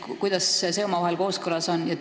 Kuidas see omavahel kooskõlas on?